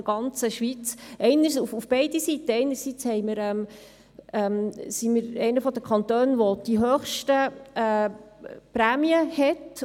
Auf beide Seiten: Einerseits sind wir einer der Kantone, welcher die höchsten Prämien hat.